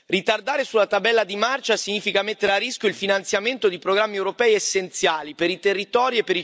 Ritardare sulla tabella di marcia significa mettere a rischio il finanziamento di programmi europei essenziali per i territori